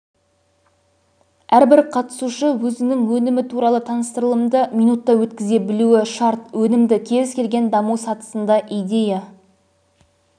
әрбір қатысушы өзінің өнімі туралы таныстырылымды минутта өткізе білуі шарт өнім кез келген даму сатысында идея